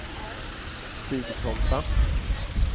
Stigtomta